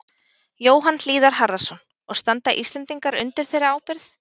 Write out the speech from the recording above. Jóhann Hlíðar Harðarson: Og standa Íslendingar undir þeirri ábyrgð?